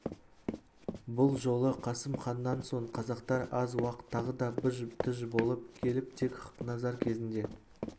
бұл жолы қасым ханнан соң қазақтар аз уақ тағы да быж-тыж болып келіп тек хақназар кезінде